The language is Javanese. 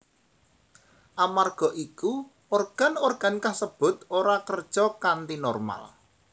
Amarga iku organ organ kasebut ora kerja kanthi normal